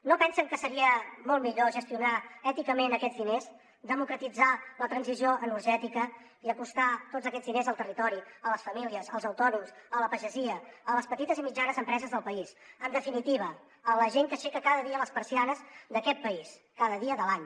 no pensen que seria molt millor gestionar èticament aquests diners democratitzar la transició energètica i acostar tots aquests diners al territori a les famílies als autònoms a la pagesia a les petites i mitjanes empreses del país en definitiva a la gent que aixeca cada dia les persianes d’aquest país cada dia de l’any